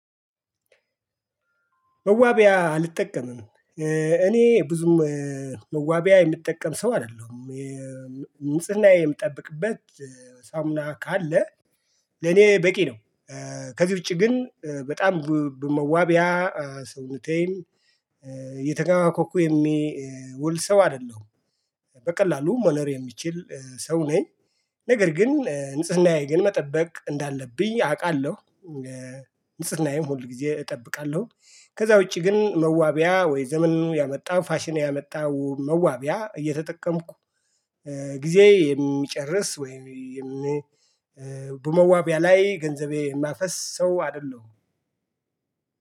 መዋቢያ አልጠቀምም። እኔ ብዙም መዋቢያ የምጠቀም ሰው አይደለሁም። ንጽህናዬ የምጠብቅበት ሳሙና ካለ ለኔ በቂ ነው። ከዚህ ውጪ ግን በጣም በመዋቢያ ሰውነቴን የተጋባ ኮኩ የሚውል ሰው አይደለሁም። በቀላሉ መኖር የሚችል ሰው ነኝ፤ ነገር ግን ንጽህናዬ ግን መጠበቅ እንዳለብኝ አውቃለሁ። ንጽህናዬም ሁል ጊዜ እጠብቃለሁ። ከዛ ውጪ ግን መዋቢያ ወይ ዘመን ያመጣ ፋሽኔ ያመጣው መዋቢያ እየተጠቀምኩ ጊዜ የሚጨርስ ወይም በመዋቢያ ላይ ገንዘቤ የማፈስ ሰው አይደለሁም።